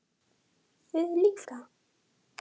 Hersir: Þið líka?